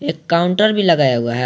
एक काउंटर भी लगाया हुआ है।